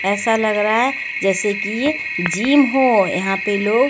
यैसा लग रहा है जैसे कि यहां पे जिम हो। यहां पे लोग --